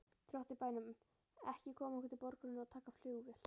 Drottins bænum koma okkur til borgarinnar og taka flugvél.